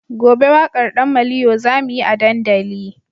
Gobe wakar dan maliyo zamuyi a dandali